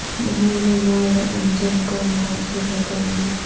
مہر و مہ و انجم کا محاسب ہے قلندر